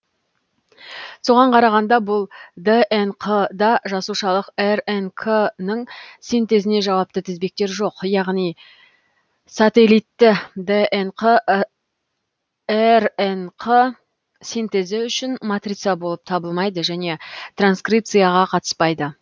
соған қарағанда бұл днқ да жасушалық рнк ның синтезіне жауапты тізбектер жоқ яғни сателитті днқ рнқ синтезі үшін матрица болып табылмайды және транскрипцияға қатыспайды